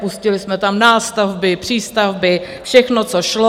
Pustili jsme tam nástavby, přístavby, všechno, co šlo.